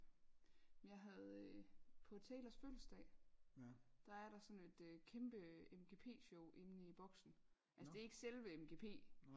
Men jeg havde øh på Taylors fødselsdag der er der sådan et kæmpe MGP show inde i boksen altså det er ikke selve MGP